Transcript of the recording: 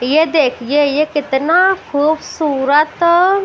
ये देखिएये कितना खूबसूरत--